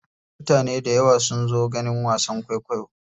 Mutane dayawa sun zo ganin wasan kwaikwayo.